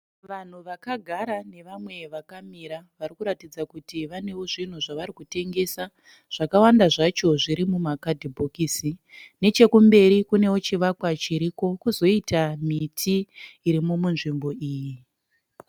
Vanhu vaka gara nevamwe vaka mira vari kuratidza kuti vanewo zvinhu zvari kutengesa . Zvaka wanda zvacho zviri muma kadhibhokisi. Neche kumberi kunewo chivakwa chirimo , kozoita miti irimo mu nzvimbo iyi.